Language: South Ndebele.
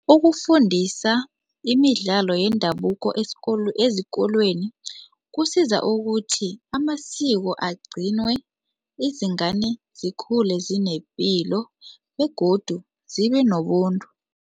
Ukufundisa imidlalo yendabuko ezikolweni kusiza ukuthi amasiko agcinwe, izingane zikhule zinepilo begodu zibenobuntu.